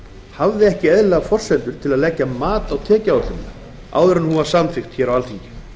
hafði ekki eðlilegar forsendur til að leggja mat á tekjuáætlunina áður en hún var samþykkt á alþingi